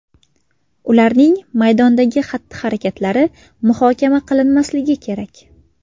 Ularning maydondagi xatti-harakatlari muhokama qilinmasligi kerak.